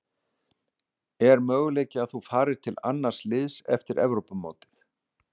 Er möguleiki að þú farir til annars liðs eftir Evrópumótið?